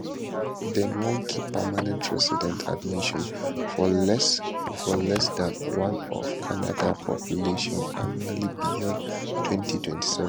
dem wan keep permanent resident admission for less for less dan 1 of canada population annually beyond 2027